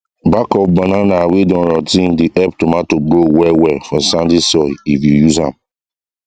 back of banana wey don rot ten dey help tomato grow well well for sandy soil if you use am